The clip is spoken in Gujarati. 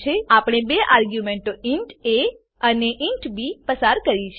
આપણે બે આર્ગ્યુંમેંટો ઇન્ટ એ અને ઇન્ટ બી પસાર કરી છે